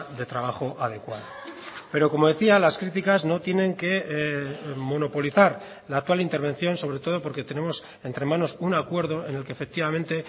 de trabajo adecuada pero como decía las críticas no tienen que monopolizar la actual intervención sobre todo porque tenemos entre manos un acuerdo en el que efectivamente